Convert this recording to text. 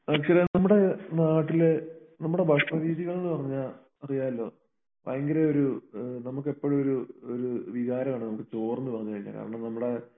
നമ്മുടെ നാട്ടില് നമ്മുടെ ഭക്ഷണ രീതികൾന്നുപറഞ്ഞാ അറിയാല്ലോ ഭയങ്കര ഒരു ഏഹ് നമുക്കെപ്പോഴും ഒരു ഒരു വികാരമാണ് നമുക്ക് ചോറെന്നു പറഞ്ഞു കഴിഞ്ഞാൽ കാരണം നമ്മുടെ